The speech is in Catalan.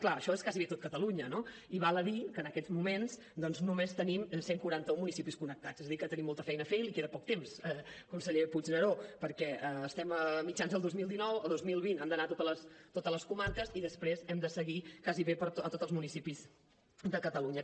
clar això és gairebé tot catalunya no i val a dir que en aquests moments doncs només tenim cent i quaranta un municipis connectats és a dir que tenim molta feina a fer i li queda poc temps conseller puigneró perquè estem a mitjans del dos mil dinou el dos mil vint ha d’anar a totes les comarques i després hem de seguir gairebé a tots els municipis de catalunya